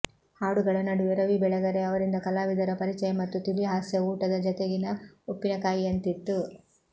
ಹಾಡುಗಳ ನಡುವೆ ರವಿ ಬೆಳಗೆರೆ ಅವರಿಂದ ಕಲಾವಿದರ ಪರಿಚಯ ಮತ್ತು ತಿಳಿ ಹಾಸ್ಯ ಊಟದ ಜೊತೆಗಿನ ಉಪ್ಪಿನಕಾಯಿಯಂತಿತ್ತು